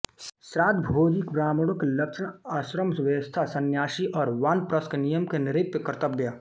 श्राद्धभोजी ब्राह्मणों के लक्षण आश्रमव्यवस्था संन्यासी और वानप्रस्थ के नियम नृप के कर्त्तव्य